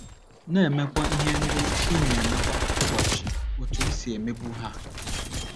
Na - emekwa ihe ndị ị na - eme kwa ụbọchị otú i si emebu ha.